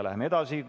Läheme edasi.